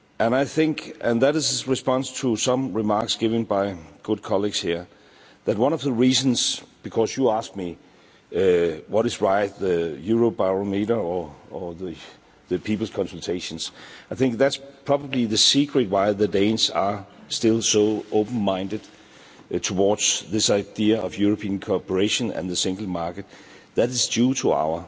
I think that is in response to some remarks given by good colleagues here, that is one of the reasons because you asked me, which is right, the Eurobarometer or the people's consultations I think that's probably the secret why the Danes are still so open minded towards this idea of European cooperation and the single market, it is due to our